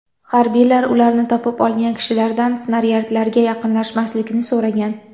Harbiylar ularni topib olgan kishilardan snaryadlarga yaqinlashmaslikni so‘ragan.